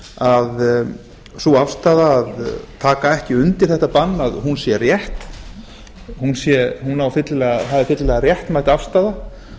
að sú afstaða að taka ekki undir þetta bann sé rétt það er fyllilega réttmæt afstaða